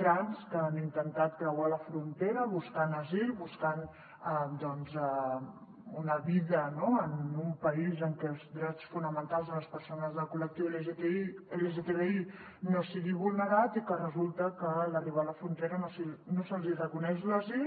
trans que han intentat creuar la frontera buscant asil buscant una vida en un país en què els drets fonamentals de les persones del col·lectiu lgtbi no siguin vulnerats i resulta que a l’arribar a la frontera no se’ls hi reconeix l’asil